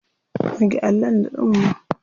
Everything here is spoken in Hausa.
Goge allon da tsumma.